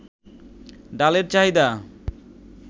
ডালের চাহিদা